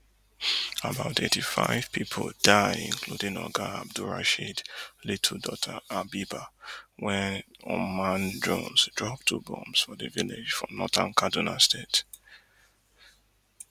about eighty-five pipu die including oga abdulrasheed little daughter habeebah wen unmanned drones drop two bombs for di village for northern kaduna state